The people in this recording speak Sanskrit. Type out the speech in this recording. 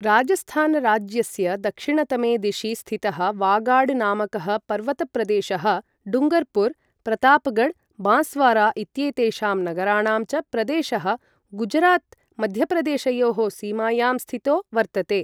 राजस्थानराज्यस्य दक्षिणतमे दिशि स्थितः वागाड नामकः पर्वतप्रदेशः डूङ्गर्पुर, प्रतापगढ्, बाँसवारा इत्येतेषां नगराणां च प्रदेशः गुजरात मध्यप्रदेशयोः सीमायां स्थितो वर्तते।